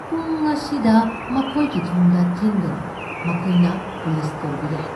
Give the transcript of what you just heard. ꯄꯨꯡ ꯑꯁꯤꯗ ꯃꯈꯣꯏꯒꯤ ꯊꯣꯡꯗ ꯊꯤꯟꯒꯅꯨ꯫ ꯃꯈꯣꯏꯅ ꯄꯨꯂꯤꯁ ꯀꯧꯕ ꯌꯥꯏ꯫